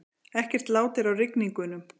Ekkert lát er á rigningunum